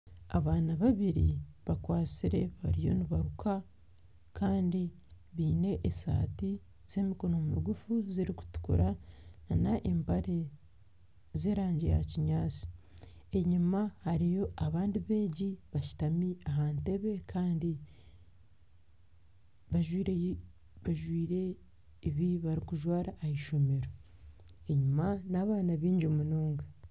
Abaana babiri bakwatsire bariyo nibaruka Kandi baine esati z'emikono migufu ziri kutukura n'empare z'erangi ya kinyaatsi. Enyima hariyo abandi beegi bashutami aha ntebe Kandi bajwire ebibarikujwara aha ishomero. Enyima ni abaana baingi munonga.